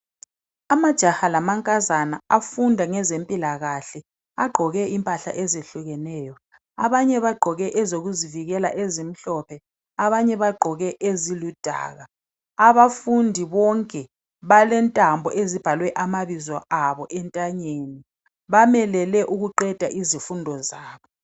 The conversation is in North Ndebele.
Amajaha lamankazana afunda ngezempilakahle, agqoke impahla ezehlukeneyo. Abanye bagqoke ezokuzivikela ezimhlophe, abanye bagqoke eziludaka. Abafundi bonke balentambo ezibhalwe amabizo abo entanyeni, bamelele ukuqeda izifundo zabo.